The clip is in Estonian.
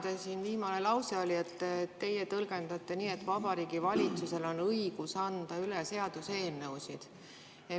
Teie viimane lause oli, et teie tõlgendate nii, et Vabariigi Valitsusel on õigus anda üle seaduseelnõusid.